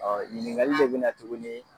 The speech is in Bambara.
ɲiningali de bɛ na tuguni